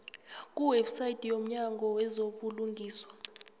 kuwebsite yomnyango wezobulungiswa